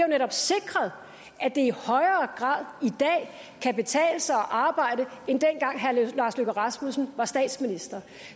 netop sikret at det i højere grad i dag kan betale sig at arbejde end dengang herre lars løkke rasmussen var statsminister